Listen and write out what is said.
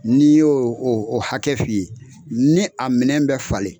Ni n y'o o o hakɛ f'i ye, ni a minɛn bɛ falen